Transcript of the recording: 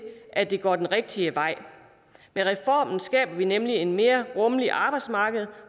at det går den rigtige vej med reformen skaber vi nemlig et mere rummeligt arbejdsmarked